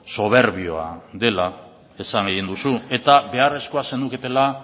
soberbioa dela esan egin duzu eta beharrezkoa zenuketela